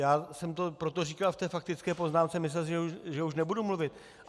Já jsem to proto říkal v té faktické poznámce, myslel jsem si, že už nebudu mluvit.